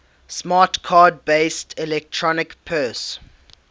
smart card based electronic purse